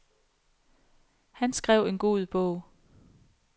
Han skrev en god bog.